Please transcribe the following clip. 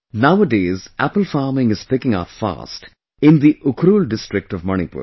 Nowadays apple farming is picking up fast in the Ukhrul district of Manipur